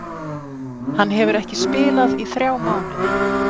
Hann hefur ekki spilað í þrjá mánuði.